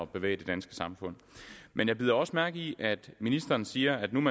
bevæge det danske samfund men jeg bider også mærke i at ministeren siger at man